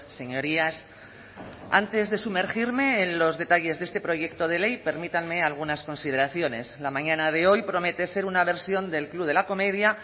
señorías antes de sumergirme en los detalles de este proyecto de ley permítanme algunas consideraciones la mañana de hoy promete ser una versión del club de la comedia